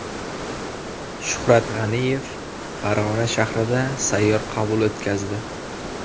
Shuhrat G‘aniyev Farg‘ona shahrida sayyor qabul o‘tkazdi.